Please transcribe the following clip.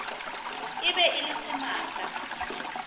e be e le semaka